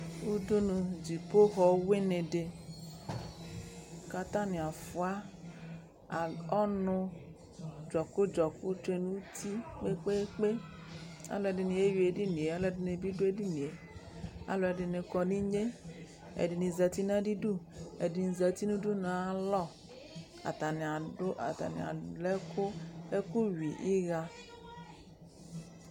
Udunu, dzipoxɔ wɩnɩ dɩ kʋ atanɩ afʋa ɔnʋ, dzɔkʋ-dzɔkʋ tsue nʋ uti kpe-kpe-kpe Alʋɛdɩnɩ eyui edini yɛ Alʋɛdɩnɩ bɩ dʋ edini yɛ Alʋɛdɩnɩ kɔ nʋ inye Ɛdɩnɩ zati nʋ adɩdu Ɛdɩnɩ zati nʋ udunu yɛ ayalɔ Atanɩ adʋ atanɩ alɛ ɛkʋ yui ɩɣa